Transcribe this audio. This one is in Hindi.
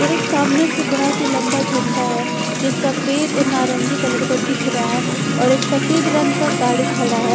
और एक सामने से बहुत ही लम्बा झंडा है जो सफ़ेद और नारंगी कलर का दिख रहा है और एक सफ़ेद रंग का गाड़ी खड़ा है।